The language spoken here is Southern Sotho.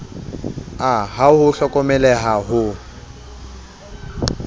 a ha ho hlokomeleha ho